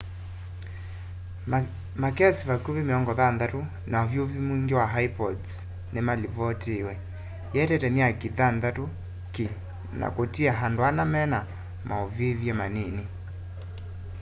makesi vakũvĩ 60 ma ũvyũvũ mwĩngĩ ma ĩpods nĩmalivotiiwe ĩetete myaki thanthatũ ki na kũtia andũ ana mena maũvĩvye manini